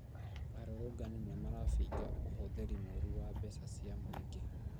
Arũrũngani nĩmarabinga ũhũthĩri mũru wa mbeca cia mũingĩ